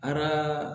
A kaa